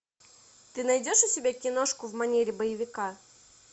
ты найдешь у себя киношку в манере боевика